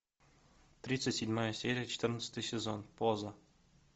тридцать седьмая серия четырнадцатый сезон поза